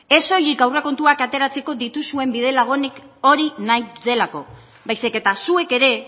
ez soilik aurrekontuak ateratzeko dituzuen bide lagunik hori nahi dutelako baizik eta zuek ere